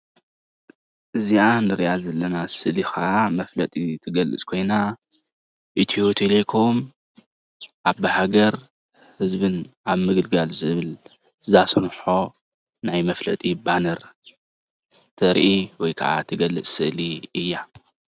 እዚኣ ንሪኣ ዘለና ስእሊ ከዓ መፍለጢ ትገልፅ ኮይና ኢትዮ ቴለኮም ዓባይ ሃገር ህዝብን ኣብ ምግልጋል ዝብል ዘስርሖ ናይ መፍለጢ ባነር ተርኢ ወይ ከዓ ትገልፅ ስእሊ እያ ።